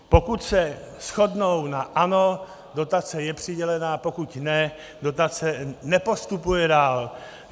Pokud se shodnou na ano, dotace je přidělena, pokud ne, dotace nepostupuje dál.